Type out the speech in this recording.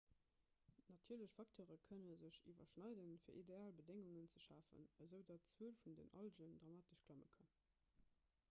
natierlech facteure kënne sech iwwerschneiden fir ideal bedéngungen ze schafen esoudatt d'zuel vun den algen dramatesch klamme kann